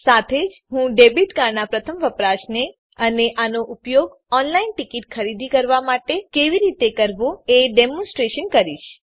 સાથે જ હું ડેબીટ કાર્ડનાં પ્રથમ વપરાશને અને આનો ઉપયોગ ઓનલાઈન ટીકીટ ખરીદી માટે કેવી રીતે કરવો એ ડેમોનસ્ટ્રેટ કરીશ